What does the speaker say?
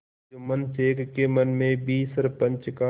जुम्मन शेख के मन में भी सरपंच का